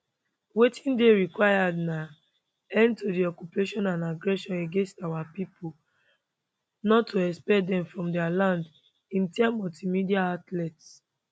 wetin dey required na end to di occupation and aggression against our pipo not to expel dem from dia land im tell multiple media outlets